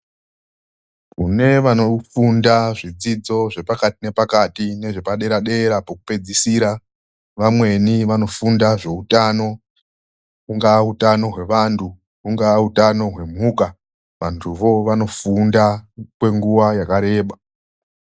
Kune vanofunda zvidzidzo zvepakati nepakati nezvepadera-dera pokupedzisira, vamweni vanofunda nezvehutano ungawa utano hwevantu, ungawa utano hwemhuka, vantuwo vanofunda kwenguwa yakareba.